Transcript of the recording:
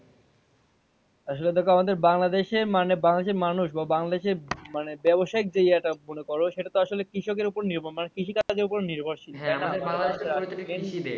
আসলে দেখো আমাদের বাংলাদেশে মানে বাংলাদেশের মানুষ বা বাংলাদেশের ব্যাবসায়ী area টা মনে করো সেটা তো আসলে কৃষকের ওপর নির্ভর মানে আমরা কৃষিকাজের ওপর নির্ভরশীল